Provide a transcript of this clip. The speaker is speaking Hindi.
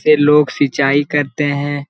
से लोग सिचाई करते है--